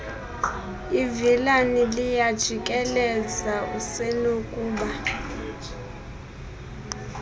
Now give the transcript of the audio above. ivilana liyajikeleza usenokuba